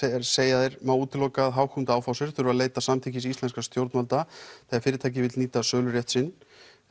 segja þeir má útiloka að Hauck og Aufhäuser þurfi að leita samþykkis íslenskra stjórnvalda þegar fyrirtækið vill nýta sölurétt sinn